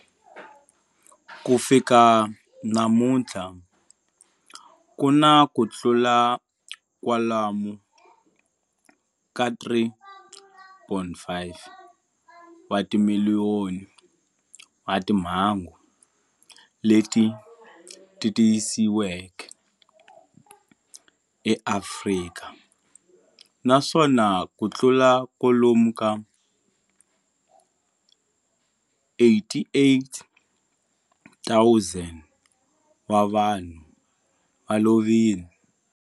Ku fika namuntlha ku na kutlula kwalomu ka 3.5 wa timiliyoni wa timhangu leti tiyisisiweke eAfrika, naswona kutlula kwalomu ka 88,000 wa vanhu va lovile.